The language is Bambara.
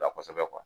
La kɔsɛbɛ